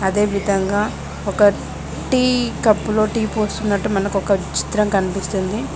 అదేవిధంగా ఒక టీ కప్పులో టీ పోసుకున్నట్టు మనకు ఒక చిత్రం కనిపిస్తుంది.